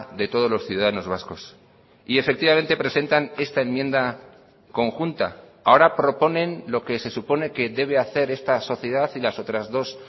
de todos los ciudadanos vascos y efectivamente presentan esta enmienda conjunta ahora proponen lo que se supone que debe hacer esta sociedad y las otras dos